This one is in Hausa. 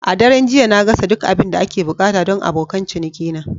A daren jiya, na gasa duk abin da ake buƙata don abokan cinikina.